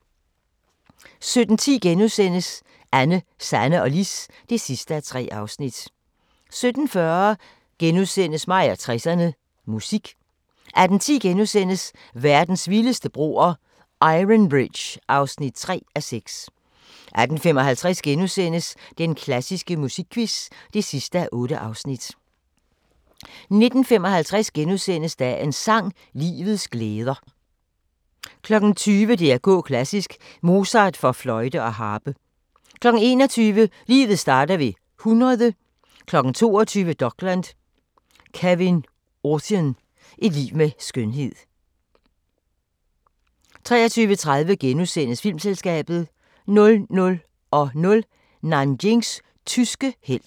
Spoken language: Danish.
17:10: Anne, Sanne og Lis (3:3)* 17:40: Mig og 60'erne: Musik * 18:10: Verdens vildeste broer – Iron Bridge (3:6)* 18:55: Den klassiske musikquiz (8:8)* 19:55: Dagens sang: Livets glæder * 20:00: DR K klassisk: Mozart for fløjte og harpe 21:00: Livet starter ved 100 22:00: Dokland: Kevyn Aucoin – et liv med skønhed 23:30: Filmselskabet * 00:00: Nanjings tyske helt